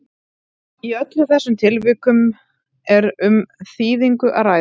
í öllum þessum tilvikum er um þýðingu að ræða